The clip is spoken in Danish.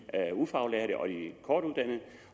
ufaglærte og de kortuddannede